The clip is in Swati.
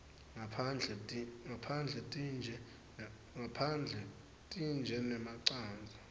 ngaphandle tintje nemacandza